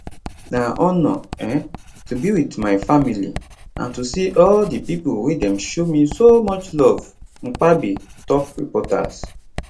na honour um to be wit my family and to see all di pipo wey dem show me so much love mpabbe tok reporters